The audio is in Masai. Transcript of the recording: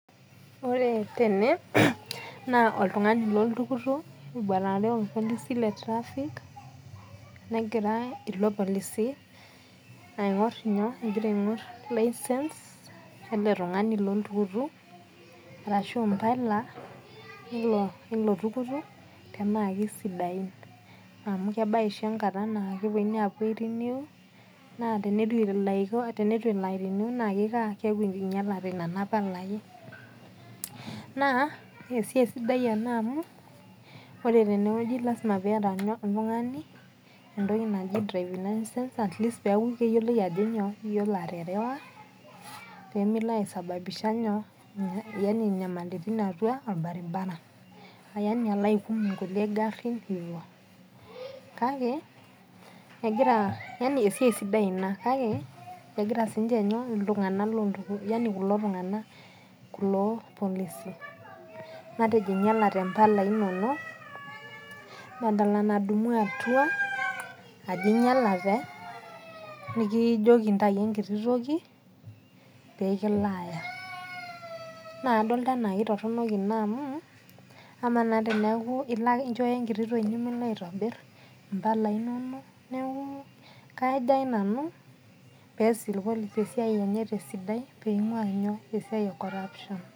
Ore tene na oltungani loltukutuk eboitare orpolise le traffic negira ilo polisi aingor nyoo ele tungani loltukutuk arashu mbala naa kesidain amu kebaya oshi enkata napuoi ai renew na tenitu iriniu na kinyala nona palai na esiai sidai ena amu ore tenewueji na lasima piata oltungani entoki naji driving license pemilo aisababisha nyoo nyamalitin atua orbaribara kake esiaia sidai ena kake egira sinye kulo polisi matejo inyalate mpala inonok ajobinyalate nikijoki ntau emkiti toki pekilaaya na kadol anaa ketoronok ena amu amaa na enaa inchooyo enkiti toki nimilo aitobir mpala inonok neaku kajo nanu peas oltungani esiaia enye tesidai peingua esiai e corruption